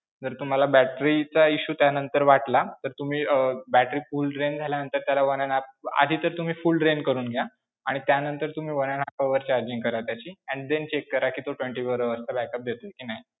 जर तुम्हाला battery चा issue त्यानंतर वाटला तर तुम्ही अं battery full drain झाल्यानंतर त्याला one and half, आधी तर तुम्ही full drain करून घ्या, आणि त्यानंतर तुम्ही one and half hour charging करा त्याची and then check करा, twenty-four hours चा backup देतोय कि नाही.